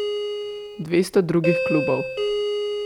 Dvesto drugih klubov.